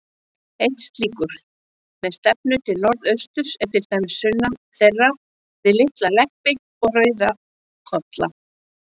Einn slíkur, með stefnu til norðausturs, er til dæmis sunnan þeirra, við Litla-Leppi og Rauðkolla.